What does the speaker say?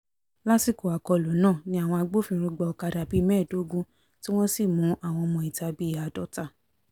lásìkò àkọlù ńnàá ni àwọn agbófinró gba ọ̀kadà bíi mẹ́ẹ̀ẹ́dógún tí wọ́n sì mú àwọn ọmọọ̀ta bíi àádọ́ta